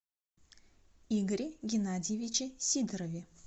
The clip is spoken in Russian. игоре геннадьевиче сидорове